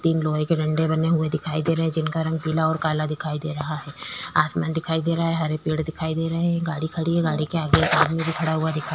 तीन लोहे के डंडे बने हुए दिखाई दे रहें हैं जिनका रंग पीला और काला दिखाई दे रहा है आसमान दिखाई दे रहा है हरे पेड़ दिखाई दे रहें हैं एक गाड़ी खड़ी है गाड़ी के आगे एक आदमी भी खड़ा हुआ दिखाई --